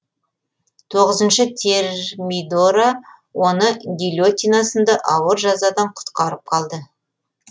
тоғызыншы термидора оны гильотина сынды ауыр жазадан құтқарып қалды